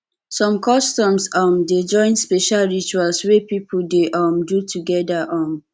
som customs um dey join special rituals wey pipo dey um do togeda um